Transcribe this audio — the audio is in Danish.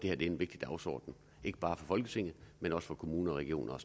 er en vigtig dagsorden ikke bare for folketinget men også for kommuner regioner